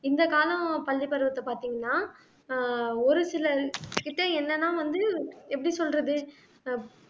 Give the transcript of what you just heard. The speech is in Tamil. இந்த காலம் பள்ளிப் பருவத்தை பார்த்தீங்கன்னா ஆஹ் ஒரு சிலர் கிட்ட என்னன்னா வந்து எப்படி சொல்றது அஹ்